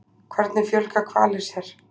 Hvernig fjölga hvalir sér?